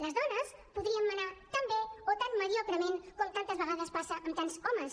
les dones podríem manar tan bé o tan mediocrement com tantes vegades passa amb tants homes